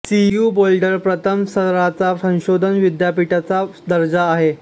CU Boulder प्रथम स्तराच्या संशोधन विद्यापीठाचा दर्जा आहे